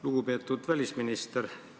Lugupeetud välisminister!